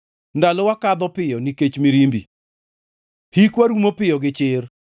Ndalowa kadho piyo nikech mirimbi; hikwa rumo piyo gi chir.